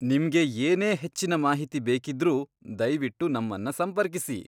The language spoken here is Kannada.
ನಿಮ್ಗೆ ಏನೇ ಹೆಚ್ಚಿನ ಮಾಹಿತಿ ಬೇಕಿದ್ರೂ, ದಯ್ವಿಟ್ಟು ನಮ್ಮನ್ನ ಸಂಪರ್ಕಿಸಿ.